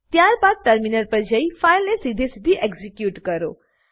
ત્યારબાદ ટર્મિનલ પર જઈને ફાઈલને સીધેસીધી એક્ઝીક્યુટ કરો